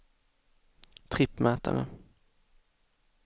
trippmätare